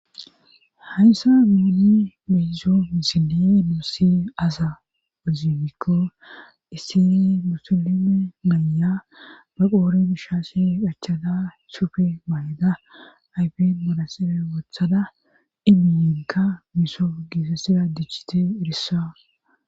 hayssa guuni beyzo isine nuusi asa ozimikko isseni musilime maya baqoore bishaase qachada sufe mayda ayfen manasibe wothada ibiyinka miso giisassida dichite irissa